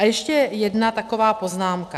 A ještě jedna taková poznámka.